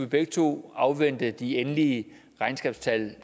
begge to afvente de endelige regnskabstal